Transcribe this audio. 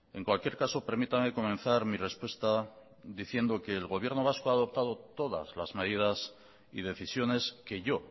en cualquier caso permítame comenzar mi respuesta diciendo que el gobierno vasco ha adoptado todas las medidas y decisiones que yo